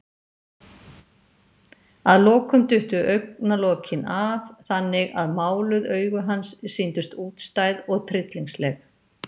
Að lokum duttu augnalokin af, þannig að máluð augu hans sýndust útstæð og tryllingsleg.